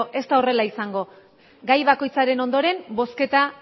ez da horrela izango gai bakoitzaren ondoren bozketa